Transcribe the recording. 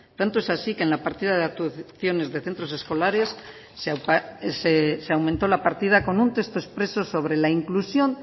tanto es así que en la partida de actuaciones de centros escolares se aumentó la partida con un texto expreso sobre la inclusión